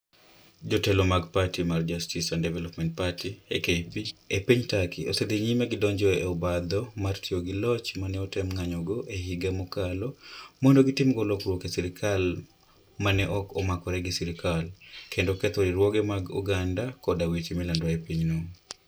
Jotelo mag pati mar Justice and Development Party (AKP) e piny Turkey osedhi nyime gi donjo e obadho mar tiyo gi loch ma ne otem ng'anjo e higa mokalo, mondo gitimgo lokruok e sirkal ma ne ok omakore gi sirkal, kendo ketho riwruoge mag oganda koda weche milando e pinyno.